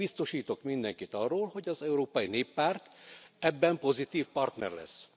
És biztosítok mindenkit arról, hogy az Európai Néppárt ebben pozitív partner lesz.